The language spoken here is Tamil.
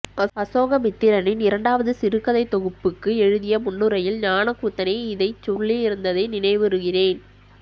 அசோகமித்திரனின் இரண்டாவது சிறுகதைத் தொகுப்புக்கு எழுதிய முன்னுரையில் ஞானக்கூத்தனே இதைச் சொல்லியிருந்ததை நினைவுறுகிறேன்